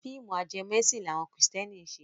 Fíìmù ajẹmọ ẹ̀sìn ni àwọn kìrìsìtẹ́nì ń ṣe.